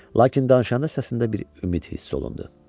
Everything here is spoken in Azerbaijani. Lakin danışanda səsində bir ümid hiss olundu.